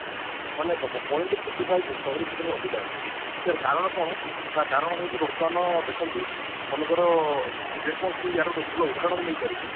ମାନେ ଦେଖ point forty five ସହରି କ୍ଷେତ୍ରରେ ଅଧିକା ଅଛି ୟାର କାରଣ କଣ ତା କାରଣ ହଉଛି ବର୍ତମାନ ଦେଖନ୍ତୁ ମନେକର ଯେ କୌଣସି ମୁଁ ୟାର ଭଲ ଉଦାହରଣ ମୁଁ ନେଇ ପାରିବି